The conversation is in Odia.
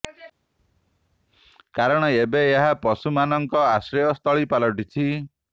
କାରଣ ଏବେ ଏହା ପଶୁ ମାନ ଙ୍କ ଆଶ୍ରୟ ସ୍ଥଳୀ ପାଲଟିଛି